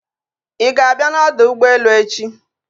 Ị ga-abịa n'ọdọ ụgbọelu echi?